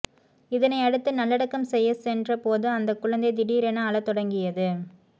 இதனை அடுத்து நல்லடக்கம் செய்ய சென்ற போது அந்த குழந்தை திடீரென அழ தொடங்கியது